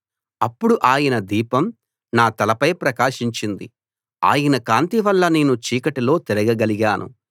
అప్పుడు ఆయన దీపం నా తలపై ప్రకాశించింది ఆయన కాంతి వల్ల నేను చీకటిలో తిరగగలిగాను